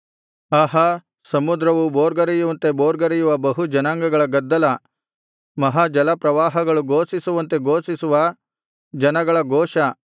ಆಹಾ ಸಮುದ್ರವು ಭೋರ್ಗರೆಯುವಂತೆ ಭೋರ್ಗರೆಯುವ ಬಹು ಜನಾಂಗಗಳ ಗದ್ದಲ ಮಹಾ ಜಲಪ್ರವಾಹಗಳು ಘೋಷಿಸುವಂತೆ ಘೋಷಿಸುವ ಜನಗಳ ಘೋಷ